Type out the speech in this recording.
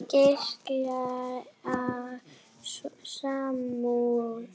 Geislar af samúð.